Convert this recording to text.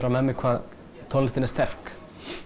með mér hvað tónlistin er sterk